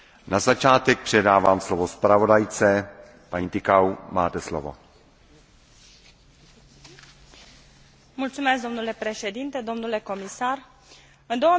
În 2010, Comisia Europeană a adoptat Strategia UE 2020 care urmărește să creeze o creștere inteligentă, durabilă și favorabilă incluziunii și să îmbunătățească guvernanța economică.